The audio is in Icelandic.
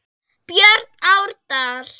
Björn Árdal.